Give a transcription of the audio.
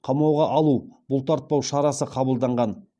қамауға алу бұлтартпау шарасы қабылданған